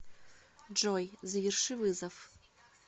джой заверши вызов